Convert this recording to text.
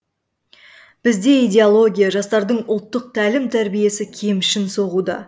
бізде идеология жастардың ұлттық тәлім тәрбиесі кемшін соғуда